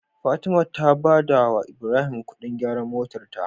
Fatima ta badawa ibrahim Ƙudin gyaran motar ta